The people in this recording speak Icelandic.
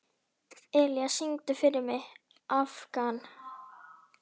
Elía, syngdu fyrir mig „Afgan“.